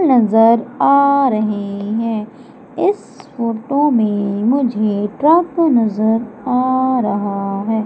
नजर आ रहे हैं इस फोटो में मुझे ट्रक नजर आ रहा है।